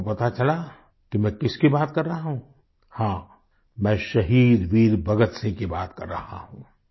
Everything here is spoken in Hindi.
क्या आपको पता चला कि मैं किसकी बात कर रहा हूँ हाँ मैं शहीद वीर भगतसिंह की बात कर रहा हूँ